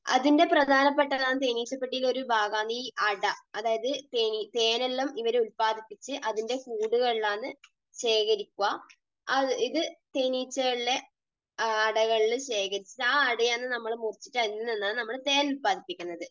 അതിൻറെ പ്രധാനപ്പെട്ട എല്ലാം, തേനീച്ചപ്പെട്ടിയിലെ ഒരു ഭാഗമാണ് ഈ അട. അതായത് തേൻ എല്ലാം ഇവർ ഉല്പാദിപ്പിച്ച് അതിന്റെ കൂടുകളിലാണ് ശേഖരിക്കുക. ഇത് തേനീച്ചകൾ അടകളിൽ ശേഖരിച്ചിട്ട് ആ അട ആണ് നമ്മൾ മുറിച്ചിട്ട് അതിൽ നിന്നാണ് നമ്മൾ തേൻ ഉല്പാദിപ്പിക്കുന്നത്.